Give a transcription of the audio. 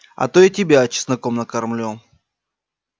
а то и тебя чесноком накормлю